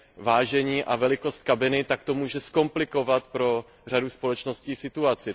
vážení a velikost kabiny, tak to může zkomplikovat pro řadu společností situaci.